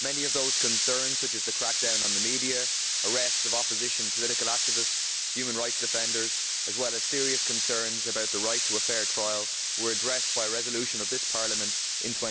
Many of those concerns such as the crackdown on the media, arrests of opposition political activists and human rights offenders, as well as serious concerns about the right to a fair trial were addressed by a resolution of this Parliament in